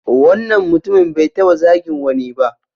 Wannan mutumin bai taɓa zagin wani ba.